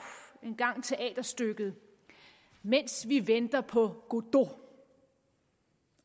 engang teaterstykket mens vi venter på godot